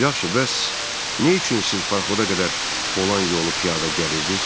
Yaxşı, bəs nə üçün siz parxoda qədər olan yolu piyada gəlirdiniz?